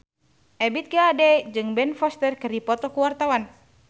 Ebith G. Ade jeung Ben Foster keur dipoto ku wartawan